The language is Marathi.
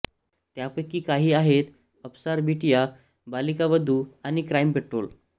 त्यापैकी काही आहेत अफ्सार बिटिया बालिका वधू आणि क्राईम पेट्रोल